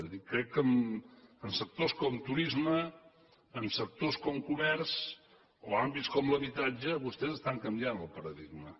és a dir crec que en sectors com turisme en sectors com comerç o àmbit com l’habitatge vostès estan canviant el paradigma